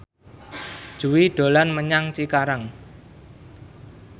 Jui dolan menyang Cikarang